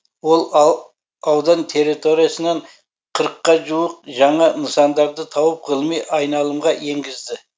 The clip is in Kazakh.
ол аудан территориясынан қырыққа жуық жаңа нысандарды тауып ғылыми айналымға енгізді